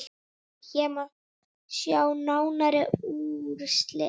Hér má sjá nánari úrslit.